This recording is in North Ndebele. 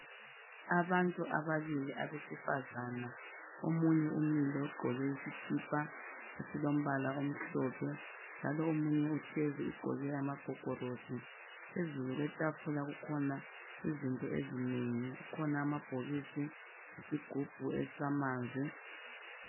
Abantu ababili abesifazana. Omunye umile ugqoke isikipa esilombala omhlophe, njalo omunye uhlezi ugqoke amagogorosi. Phezulu kwetafula kukhona izinto ezinengi. Kukhona amabhokisi lesigubhu samanzi.